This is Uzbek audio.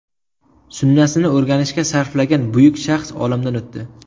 Sunnasini o‘rganishga sarflagan buyuk shaxs olamdan o‘tdi.